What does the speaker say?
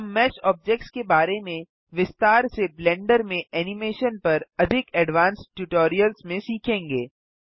हम mesh objects के बारे में विस्तार से ब्लेंडर में एनिमेशन पर अधिक एडवांस्ड ट्यूटोरियल्स में सीखेंगे